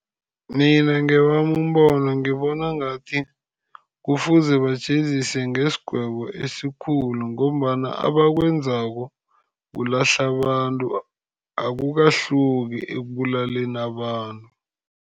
Mina ngewami umbono ngibona ngathi kufuze bajeziswe nesigwebo esikhulu, ngombana abakwenzako kulahla abantu. Akukahluki ekubulaleni abantu.